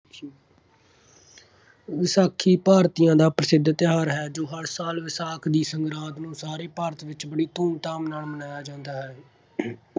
ਵਿਸਾਖੀ ਭਾਰਤੀਆਂ ਦਾ ਪ੍ਰਸਿੱਧ ਤਿਉਹਾਰ ਹੈ ਜੋ ਹਰ ਸਾਲ ਵਿਸਾਖ ਦੀ ਸੰਗਰਾਂਦ ਨੂੰ ਸਾਰੇ ਭਾਰਤ ਵਿੱਚ ਬੜੀ ਧੂਮਧਾਮ ਨਾਲ ਮਨਾਇਆ ਜਾਂਦਾ ਹੈ।